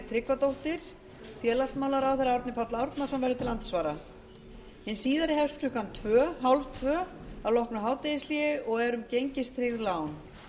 tryggvadóttir félagsmálaráðherra árni páll árnason verður til andsvara hin síðari hefst klukkan þrettán þrjátíu að loknu hádegishléi og er um gengistryggð lán